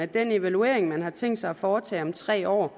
den evaluering man har tænkt sig at foretage om tre år